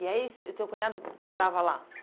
E aí seu o teu cunhado morava lá?